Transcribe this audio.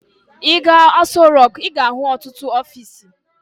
Ị gaa Aso Rọk, ị ga-ahụ ọtụtụ ọfiisi.